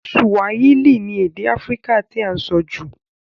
Swahili ni èdè Africa ti a n so jù